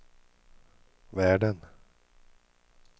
världen